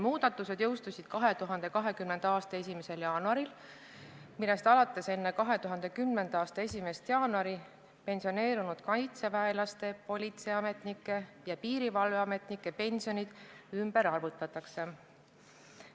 Muudatused jõustusid 2020. aasta 1. jaanuaril, millest alates enne 2010. aasta 1. jaanuari pensioneerunud kaitseväelaste, politseiametnike ja piirivalveametnike pensionid arvutatakse ümber.